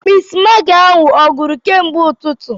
Mistmaagị ahụ a gwụru kemgbe ụtụtụ?